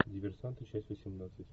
диверсанты часть восемнадцать